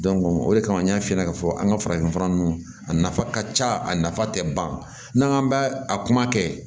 o de kama n y'a f'i ɲɛna k'a fɔ an ka farafinfura nunnu a nafa ka ca a nafa tɛ ban n'an k'an ba a kuma kɛ